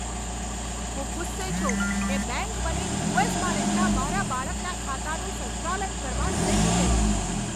હું ગુસ્સે છું કે બેંક મને યુ.એસ.માં રહેતા મારા બાળકના ખાતાનું સંચાલન કરવા નહીં દે.